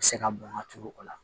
Se ka bɔn ka turu o la